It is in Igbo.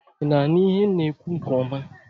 I na-aṅụ ihe na ekwu nke ọma?